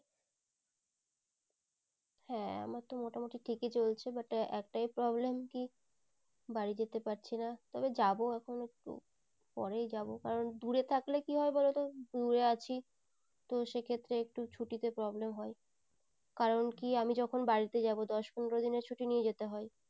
বাড়ি যেতে পারছিনা তবে যাবো এখন একটু পরেই যাবো কারণ দূরে থাকলে কি হয় বলো তো দূরে আছি তো সেই ক্ষত্রে ছুট্টি তে একটু problem হয় কারণ কি আমি যখন বাড়িতে যাবো দশ পনেরো দিনের ছুট্টি নিয়ে যেতে হয়।